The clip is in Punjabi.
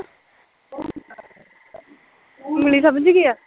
ਉਂਗਲੀ ਸਮਜਗੀ ਐ